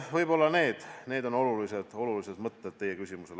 Võib-olla need on olulised mõtted vastuseks teie küsimusele.